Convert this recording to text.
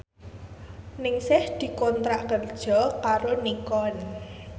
Ningsih dikontrak kerja karo Nikon